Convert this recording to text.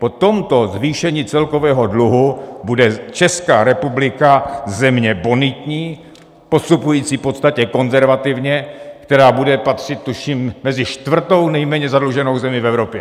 Po tomto zvýšení celkového dluhu bude Česká republika země bonitní, postupující v podstatě konzervativně, která bude patřit, tuším, mezi čtvrtou nejméně zadluženou zemi v Evropě.